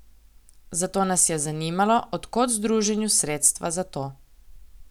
Zato nas je zanimalo, od kod združenju sredstva za to.